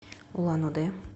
улан удэ